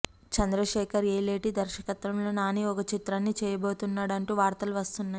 చంద్రశేఖర్ యేలేటి దర్శకత్వంలో నాని ఒక చిత్రాన్ని చేయబోతున్నాడు అంటూ వార్తలు వస్తున్నాయి